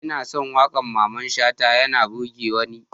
Ina son wakar Mamman shata yana burgewa ni.